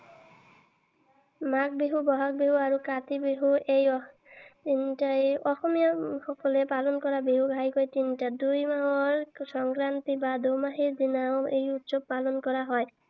মাঘ বিহু, বহাগ বিহু আৰু কাতি বিহু এই তিনিটাই। অসমীয়া সকলে পালন কৰা বিহু ঘাঁইকৈ তিনিটা। দুই মাহৰ সংক্ৰান্তি বা দুমাহীৰ দিনা এই উৎসৱ পালন কৰা হয়।